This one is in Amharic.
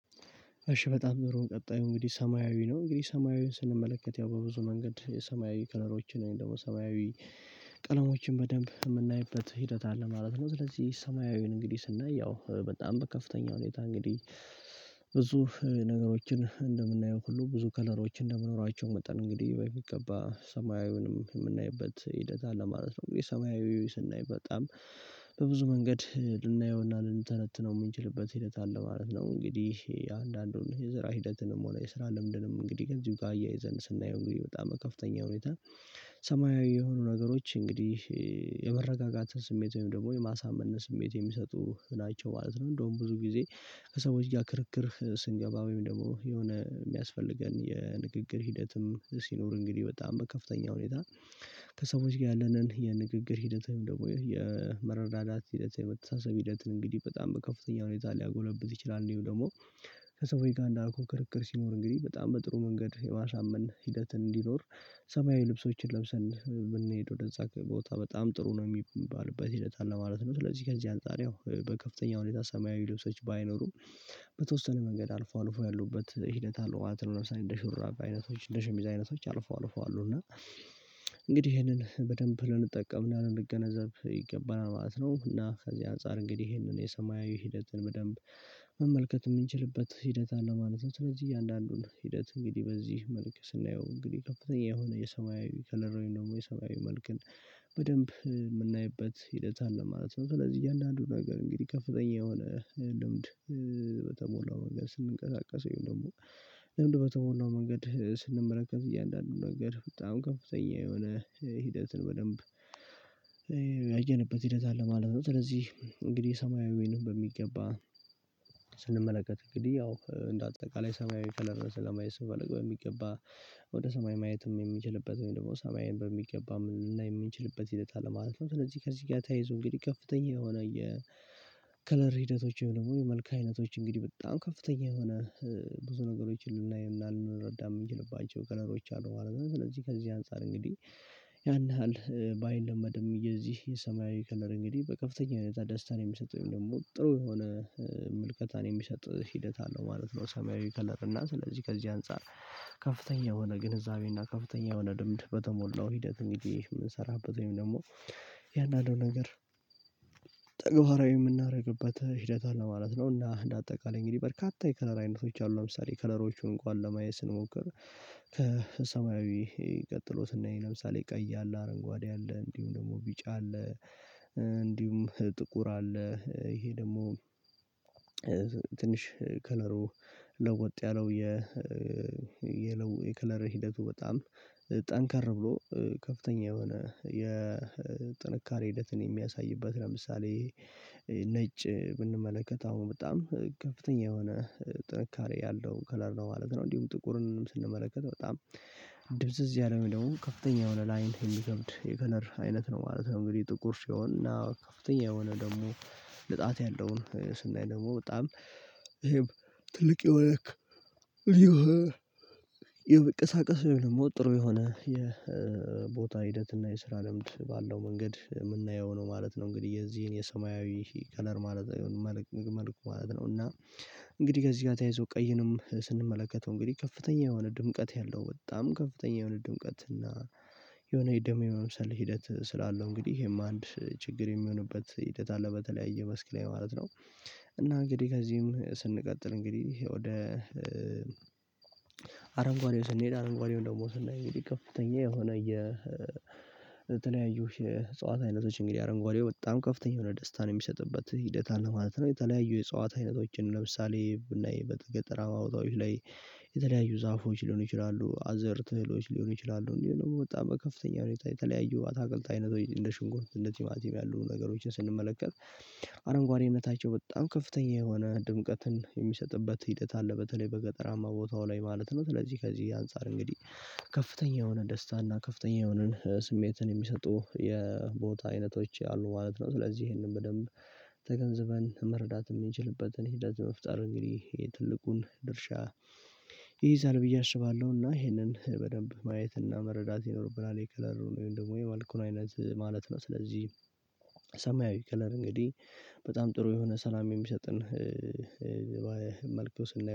እሺ በጣም ንሮ ቀጣዩ እንግዲህ ሰማያዊ ነው እንግዲህ ሰማያዊን ስንመለከት ያው በብዙ መንገድ የሰማያዊ ከለሮችን ደግሞ ሰማያዊ ቀለሞችን በደንብ ምናይበት ሂደት አለ። እንግዲህ ስናይ ያው በጣም በከፍተኛ ሁኔታ እንግዲህ ብዙ ነገሮችን እንደምናየው ሁሉ ብዙ ከለሮች እንደመኖራቸው መጠን እንግዲህ በሚገባ ሰማያዊውንም የምናይበት ሂደት አለ ማለት ነው። የሰማያዊው ስናይ በጣም በብዙ መንገድ ልናየውና ልንተነትነው የምንችልበት ሂደት አለ ማለት ነው። እንግዲህ አንዳንዱን የስራ ሂደትንም ሆነ የስራ ልምድንም እንግዲህ ከዚሁ ጋር አያይዘን ስናየው እንግዲህ በጣም በከፍተኛ ሁኔታ ሰማያዊ የሆኑ ነገሮች እንግዲህ የመረጋጋት ስሜት ወይም ደግሞ የማሳመንን ስሜት የሚሰጡ ናቸው ማለት ነው። እንደውም ብዙ ጊዜ ከሰዎች ጋር ክርክር ስንገባ ወይም ደግሞ የሆነ የሚያስፈልገን የንግግር ሂደትም ሲኖር እንግዲህ በጣም በከፍተኛ ሁኔታ ከሰዎች ጋር ያለንን የንግግር ሂደት ደግሞ የመረዳዳት ሂደት የመተሳሰብ ሂደትን እንግዲህ በጣም በከፍተኛ ሁኔታ ሊያጎለብት ይችላል። አንዲሁም ደግሞ ከሰሰዎች ጋር እንዳልኩህ ክርክር ሲኖር እንግዲህ በጣም በጥሩ መንገድ የማሳመን ሂደት እንዲኖር ሰማያዊ ልብሶችን ለብሰን ብንሄድ ወደዛ ቦታ በጣም ጥሩ ነው የሚባልበት ሂደት አለ ማለት ነው። ስለዚህ ከዚህ አንፃር ያው በከፍተኛ ሁኔታ ሰማያዊ ልብሶች ባይኖሩ በተወሰነ መንገድ አልፎ አልፎ ያሉበት ሂደት አለው ማለት ነው። ለምሳሌ እንደ ሹራብ አይነቶች እንደ ሸሚዝ አይነቶች አልፈው አልፈው አሉ እና እንግዲህ ይሄንን በደንብ ልንጠቀም እና ልንገነዘብ ይገባናል ማለት ነው። እና ከዚህ አንፃር እንግዲህ ይሄንን የሰማያዊ ሂደትን በደንብ መመልከት የምንችልበት ሂደት አለ ማለት ነው። ስለዚህ እያንዳንዱን ሂደት እንግዲህ በዚህ መልክ ስናየው እንግዲህ ከፍተኛ የሆነ የሰማያዊ ከለር ወይም ደግሞ የሰማያዊ መልክን በደንብ የምናይበት ሂደት አለ ማለት ነው። ስለዚህ እያንዳንዱ ነገር እንግዲህ ከፍተኛ የሆነ ልምድ በተሞላው መንገድ ስንንቀሳቀስ ወይም ደግሞ ልምድ በተሞላው መንገድ ስንመለከት እያንዳንዱ ነገር በጣም ከፍተኛ የሆነ ሂደትን በደንብ ያየንበት ሂደት አለ ማለት ነው። ስለዚህ እንግዲህ ሰማያዊንም በሚገባ ስንመለከት እንግዲህ ያው እንደ አጠቃላይ ሰማያዊ ከለር ስለሚያስፈልግ በሚገባ ወደ ሰማይ ማየትም የሚችልበት ወይም ደግሞ ሰማይን በሚገባ ልናይ የምንችልበት ሂደተ አለ ማለት ነው። ስለዚህ ከዚህ ጋር ተያይዞ እንግዲህ ከፍተኛ የሆነ የከለር ሂደቶች ወይም ደግሞ የመልክ አይነቶች እንግዲህ በጣም ከፍተኛ የሆነ ብዙ ነገሮችን ልናይ እና ልንረዳ የምንችልባቸው ከለሮች አሉ ማለት ነው። ስለዚህ ከዚህ አንፃር እንግዲህ ያን ያህል ባይለመድም የዚህ የሰማያዊ ከለር እንግዲህ በከፍተኛ ሁኔታ ደስታን የሚሰጥ ወይም ደግሞ ጥሩ የሆነ ምልከታን የሚሰጥ ሂደት አለው ማለት ነው። ሰማያዊ ከለር እና ስለዚህ ከዚህ አንፃር ከፍተኛ የሆነ ግንዛቤ እና ከፍተኛ የሆነ ልምድ በተሞላው ሂደት እንግዲህ የምንሰራበት ወይም ደግሞ እያንዳንዱን ነገር ተግባራዊ የምናደርግበት ሂደት አለ ማለት ነው። እና እንደ አጠቃላይ እንግዲህ በርካታ የከለር አይነቶች አሉ። ለምሳሌ ከለሮቹን እንኳን ለማየት ስንሞክር ከሰማያዊ ቀጥሎ ስናይ ለምሳሌ ቀያ አለ አረንጓዴ አለ እንዲሁም ደግሞ ቢጫ አለ እንዲሁም ጥቁር አለ ይሄ ደግሞ ትንሽ ከለሩ ለወጥ ያለው የ የለው የከለር ሂደቱ በጣም ጠንካራ ብሎ ከፍተኛ የሆነ የጥንካሬ ሂደትን የሚያሳይበት ለምሳሌ ነጭ ብንመለከት አሁን በጣም ከፍተኛ የሆነ ጥንካሬ ያለው ከለር ነው ማለት ነው። እንዲሁም ጥቁርን ስንመለከት በጣም ድብዝዝ ያለ ወይ ደግሞ ከፍተኛ የሆነ ለአይን የሚከብድ የከለር አይነት ነው ማለት ነው። እንግዲህ ጥቁር ሲሆን እና ከፍተኛ የሆነ ደግሞ ንጣት ያለውን ስናይ ደግሞ በጣም ይሄም ትልቅ የሆነ የመንቀሳቀስ ወይም ደግሞ ጥሩ የሆነ የቦታ ሂደት እና የስራ ልምድ ባለው መንገድ የምናየው ነው ማለት ነው። እንግዲህ የዚህን የሰማያዊ ከለር ማለት መልኩ ማለት ነው እና እንግዲህ ከዚህ ጋር ተያይዞ ቀይንም ስንመለከተው እንግዲህ ከፍተኛ የሆነ ድምቀት ያለው በጣም ከፍተኛ የሆነ ድምቀት እና የሆነ የደም የመምሰል ሂደት ስላለው እንግዲህ ይሄም አንድ ችግር የሚሆንበት ሂደት አለ በተለያየ መስክ ላይ ማለት ነው። እና እንግዲህ ከዚህም ስንቀጥል እንግዲህ ወደ አረንጓዴው ስንሄድ አረንጓዴውን ደግሞ ስናየው እንግዲህ ከፍተኛ የሆነ የተለያዩ የዕጽዋት አየነቶች እንግዲህ አረንጓዴ በጣም ከፍተኛ የሆነ ደስታን የሚሰጥበት ሂደት አለ ማለት ነው። የተለያዩ የዕጽዋት አይነቶችን ለምሳሌ ብናይ ገጠራማ ቦታዋች ላይ የተለያዩ ዛፎች ሊሆኑ ይችላሉ አዘርት እህሎች ሊሆኑ ይችላሉ እንዲሁም ደግሞ በጣም በከፍተኛ ሁኔታ የተለያዩ አታክልት አይነቶች እንደ ሽንኩርት ቲማቲም ያሉ ነገሮችን ስንመለከት። አረንጓዴነታቸው በጣም ከፍተኛ የሆነ ድምቀትን የሚሰጥበት ሂደት አለ በተለይ በገጠራማ ቦታው ላይ ማለት ነው። ስለዚህ ከዚህ አንፃር እንግዲህ ከፍተኛ የሆነ ደስታና ከፍተኛ የሆነን ስሜትን የሚሰጡ የቦታ አይነቶች ያሉ ማለት ነው። ስለዚህ ይሄንን በደንብ ተገንዝበን መረዳት የምንችልበትን ሂደት መፍጠር እንግዲህ ትልቁን ድርሻ ይይዛል ብዬ አስባለሁ። እና ይሄንን በደንብ ማየትና መረዳት ይኖርብናል የከለር ወይም ደግሞ የመልኩን አይነት ማለት ነው። ስለዚህ ሰማያዊ ከለር እንግዲህ በጣም ጥሩ የሆነ ሰላም የሚሰጥን መልኩ ስናየው